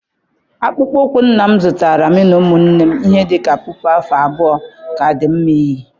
Akpụkpọ ụkwụ nna m zụtara mụ na ụmụnne m ihe dị ka puku afọ abụọ ka di nma iyi.